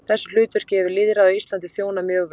Þessu hlutverki hefur lýðræðið á Íslandi þjónað mjög vel.